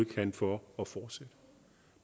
kan for at fortsætte